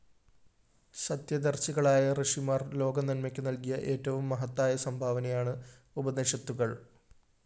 സത്യദര്‍ശികളായ ഋഷിമാര്‍ ലോകനന്മക്ക് നല്‍കിയ എറ്റവും മഹത്തായ സംഭാവനയാണ് ഉപനിഷത്തുകള്‍